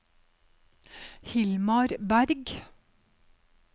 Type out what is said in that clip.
Hilmar Bergh